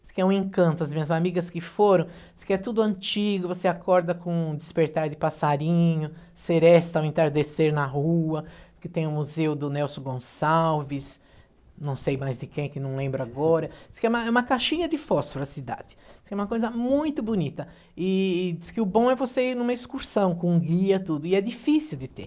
diz que é um encanto, as minhas amigas que foram, diz que é tudo antigo, você acorda com um despertar de passarinho, seresta ao entardecer na rua, que tem o museu do Nelson Gonçalves, não sei mais de quem, que não lembro agora, diz que é uma é uma caixinha de fósforo a cidade, diz que é uma coisa muito bonita, e e diz que o bom é você ir numa excursão com um guia, tudo, e é difícil de ter.